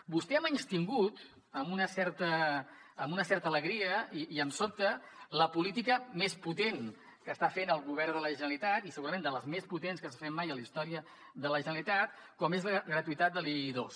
vostè ha menystingut amb una certa alegria i em sobta la política més potent que està fent el govern de la generalitat i segurament de les més potents que s’han fet mai a la història de la generalitat com és la gratuïtat de l’i2